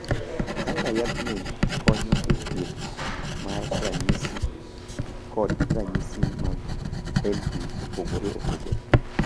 Kaka yathgi konyo e thieth mar ranyisi kod ranyisi mag LP opogore opogore.